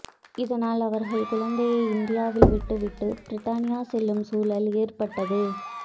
இதனால் அவர்கள் குழந்தையை இந்தியாவில் விட்டு விட்டு பிரித்தானியா செல்லும் சூழல் ஏற்ப்ட்டது